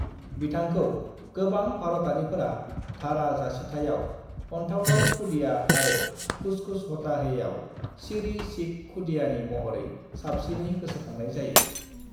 बिथाखौ गोबां भारतारिफोरा धारा जासिथाइयाव (confused) अनथावथाव खुदिया आरो कुछ कुछ होता है आव सिरि सिख खुदियानि महरै साबसिननै गोसोखांनाय जायो।